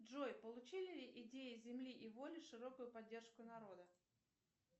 джой получили ли идеи земли и воли широкую поддержку народа